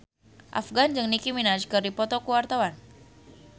Afgan jeung Nicky Minaj keur dipoto ku wartawan